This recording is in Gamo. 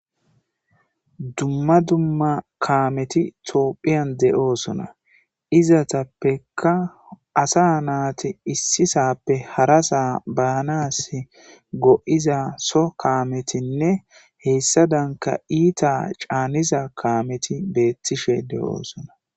Dumma dumma kaameti toophiyan de'oosona izatappekka asa naati issisappe hara saa baanas go'iza so kaametinne heessa danka iita caaniza kaameti beettishe de'oosona.